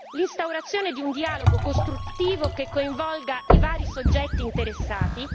l'instaurazione di un dialogo costruttivo che coinvolga i vari soggetti interessati